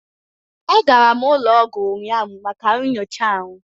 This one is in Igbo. Agara m ụlọ ọgwụ ụnyahụ maka nyocha ahụ